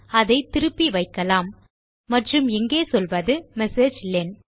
அதை திருப்பி வைக்கலாம் மற்றும் இங்கே சொல்வது மெசேஜிலன்